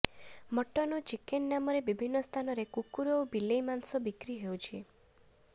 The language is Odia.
ମଟନ ଓ ଚିକେନ ନାମରେ ବିଭିନ୍ନ ସ୍ଥାନରେ କୁକୁର ଓ ବିଲେଇ ମାଂସ ବିକ୍ରି ହେଉଛି